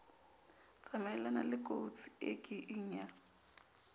tsamayelana lekotsi e kieng ya